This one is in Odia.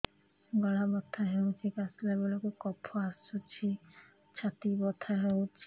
ଗଳା ବଥା ହେଊଛି କାଶିଲା ବେଳକୁ କଫ ଆସୁଛି ଛାତି ବଥା ହେଉଛି